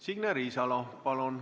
Signe Riisalo, palun!